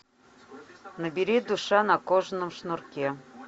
набери душа на кожаном шнурке